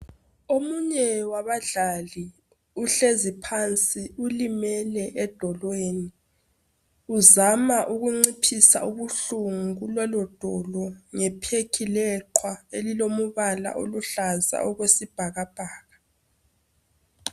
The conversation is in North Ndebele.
Omunye wabadlali uhlezi phansi ulimele edolweni uzama ukunciphisa ubuhlungu kulelo dolo ngephekhi leqwa elilomubala oluhlaza okwesibhakabhaka.